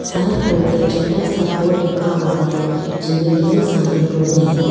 Side पर एक छोटा सा पॉट रखा हुआ है जिनमें ढेर सारे पौधे हैं।